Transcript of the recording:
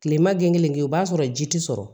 Kilema gen kelen kɛ o b'a sɔrɔ ji ti sɔrɔ